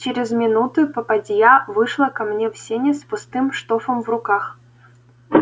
через минуту попадья вышла ко мне в сени с пустым штофом в руках